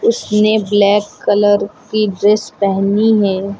उसने black colour की dress पहनी है।